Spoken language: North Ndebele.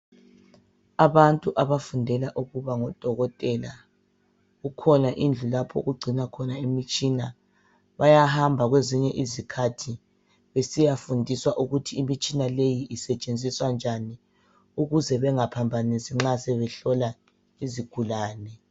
Abantu abafundela ukuba ngodokotela, kukhona indlu lapho okugcinwa khona imitshina. Bayahamba kwezinye izikhathi besiyafundiswa ukuthi imitshina leyi isetshenziswa njani ukuze bengaphambanisi nxa sebehlola izigulane.